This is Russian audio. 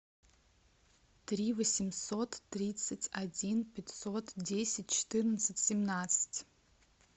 три восемьсот тридцать один пятьсот десять четырнадцать семнадцать